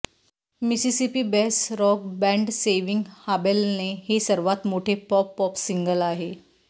Mississippi based rock band Saving हाबेलने हे सर्वात मोठे पॉप पॉप सिंगल आहे